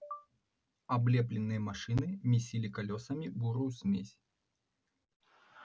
облепленные машины месили колёсами бурую смесь